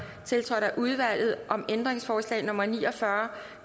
tiltrådt af udvalget om ændringsforslag nummer ni og fyrre